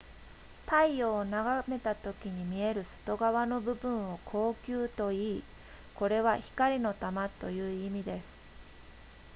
太陽を眺めたときに見える外側の部分を光球といいこれは光の玉という意味です